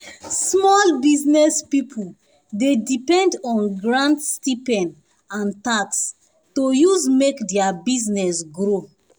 small business people dey depend on grant stipend and tax to use make their business grow